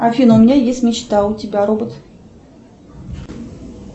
афина у меня есть мечта а у тебя робот